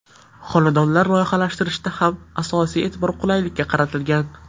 Xonadonlar loyihalashtirishda ham asosiy e’tibor qulaylikka qaratilgan.